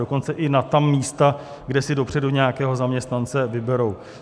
Dokonce i na ta místa, kde si dopředu nějakého zaměstnance vyberou?